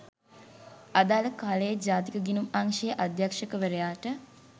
අදාළ කාලයේ ජාතික ගිණුම් අංශයේ අධ්‍යක්ෂකවරයාට